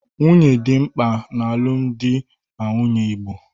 Nwunye dị mkpa n'alụmdi na nwunye igbo